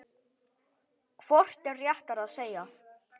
Hvort er réttara að segja